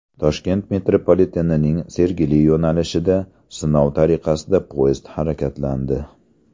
Toshkent metropolitenining Sergeli yo‘nalishida sinov tariqasida poyezd harakatlandi.